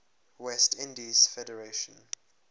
west indies federation